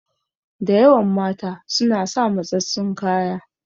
Da yawan mata suna sa matsatstsun kaya.